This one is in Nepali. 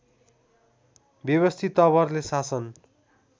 व्यवस्थित तवरले शासन